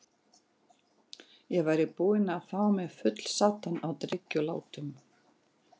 Ég væri búinn að fá mig fullsaddan af drykkjulátum.